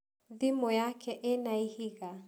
Thimũ yaku ĩna ihiga?